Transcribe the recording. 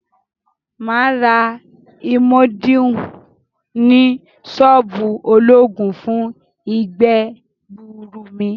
Maa ra imodium ni soobu ologun fun igbe-gbuuru mi.